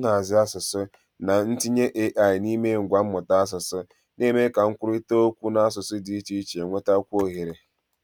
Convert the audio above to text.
nhazi asụsụ na ntinye AI n'ime ngwa mmụta asụsụ, na-eme ka nkwurịta okwu n'asụsụ dị iche iche nwetakwuo ohere